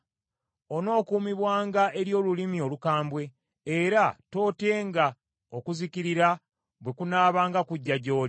Onookuumibwanga eri olulimi olukambwe, era tootyenga okuzikirira bwe kunaabanga kujja gy’oli.